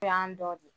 O y'an dɔ de ye